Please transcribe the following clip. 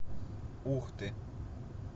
ухты